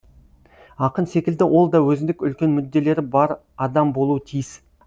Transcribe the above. ақын секілді ол да өзіндік үлкен мүдделері бар адам болуы тиіс